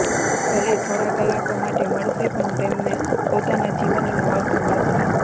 ભલે થોડા કલાકો માટે મળશે પણ તેમને પોતાના જીવનનો અર્થ મળશે